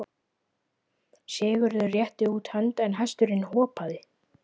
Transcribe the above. Sigurður rétti út hönd en hesturinn hopaði.